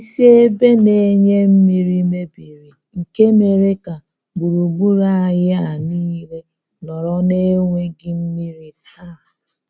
Isi ebe na-enye mmiri mebiri nke mere ka gburugburu anyị a nile nọrọ na enweghị mmiri taa.